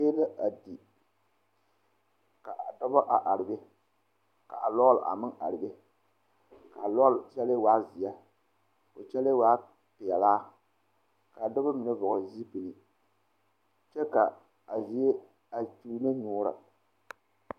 A noba waa la yaga lɛ ba mine be la a tie pare a bayuobo bata a nyɔge a baala kaŋa waana ka bata meŋ nyɔge a baala waana ba su la kaayɛ ka a e peɛle ba eŋ a nyɔboo bompɔgeraa a eŋ walenten boo kyɛ ka kaa bompɔgeraa a e geree